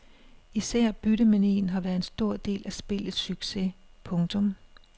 Især byttemanien har været en stor del af spillets succes. punktum